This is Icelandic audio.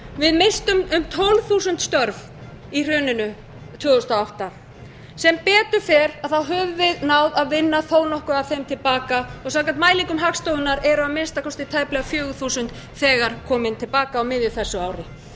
við misstum um tólf þúsund störf í hruninu tvö þúsund og átta sem betur fer höfum við náð að vinna þó nokkuð af þeim til baka og samkvæmt mælingum hagstofunnar eru að minnsta kosti tæplega fjögur þúsund þegar komin til baka á miðju þessu ári